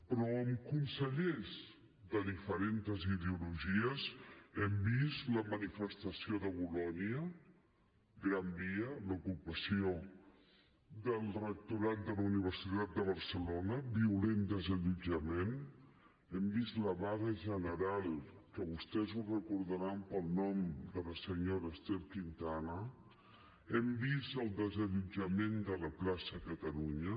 però amb consellers de diferents ideologies hem vist la manifestació de bolonya gran via l’ocupació del rectorat de la universitat de barcelona violent desallotjament hem vist la vaga general que vostès ho deuran recordar pel nom de la senyora ester quintana hem vist el desallotjament de la plaça catalunya